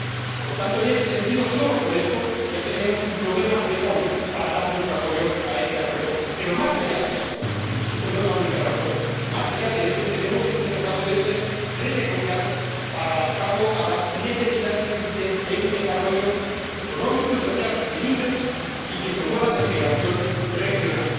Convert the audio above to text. Por consiguiente, en este sentido, solo por esto, ya tenemos un problema de fondo para dar nuestro apoyo a este acuerdo. Pero, más allá de esto —insisto no es la única razón—, entendemos que este acuerdo debe ser renegociado para adaptarlo a las necesidades de un desarrollo económico y social sostenible que promueva la integración regional.